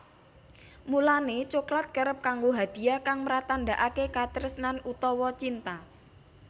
Mulané coklat kerep kanggo hadiah kang mratandakaké katresnan utawa cinta